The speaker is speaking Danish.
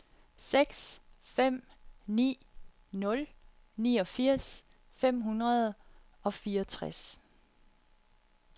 seks fem ni nul niogfirs fem hundrede og fireogtres